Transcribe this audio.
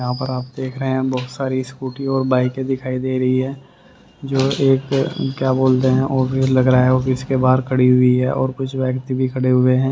यहां पर आप देख रहे हैं बहोत सारी स्कूटी और बाइके दिखाई दे रही हैं जो एक क्या बोलते है लग रहा है ऑफिस के बाहर खड़ी हुई हैं और कुछ व्यक्ति भी खड़े हुए हैं।